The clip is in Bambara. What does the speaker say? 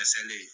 A selen